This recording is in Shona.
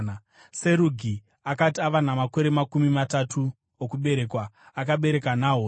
Serugi akati ava namakore makumi matatu okuberekwa, akabereka Nahori.